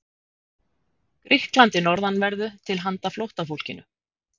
Grikklandi norðanverðu til handa flóttafólkinu.